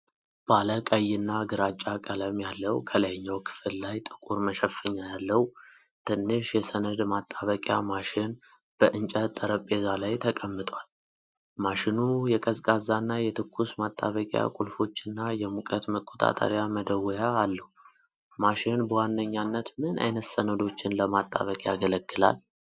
ባለ ቀይና ግራጫ ቀለም ያለው፣ ከላይኛው ክፍል ላይ ጥቁር መሸፈኛ ያለው ትንሽ የሰነድ ማጣበቂያ ማሽን በእንጨት ጠረጴዛ ላይ ተቀምጧል። ማሽኑ የቀዝቃዛና የትኩስ ማጣበቅያ ቁልፎችና የሙቀት መቆጣጠሪያ መደወያ አለው። ማሽን በዋነኝነት ምን ዓይነት ሰነዶችን ለማጣበቅ ያገለግላል?